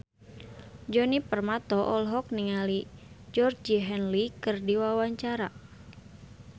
Djoni Permato olohok ningali Georgie Henley keur diwawancara